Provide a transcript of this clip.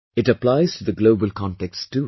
It applies to the global context too